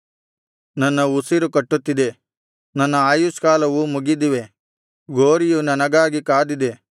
ನನ್ನ ಉಸಿರು ಕಟ್ಟುತ್ತಿದೆ ನನ್ನ ಆಯಷ್ಕಾಲವು ಮುಗಿದಿವೆ ಗೋರಿಯು ನನಗಾಗಿ ಕಾದಿದೆ